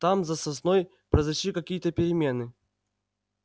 там за сосной произошли какие-то перемены